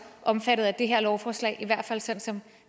omfattet af det her lovforslag i hvert fald sådan som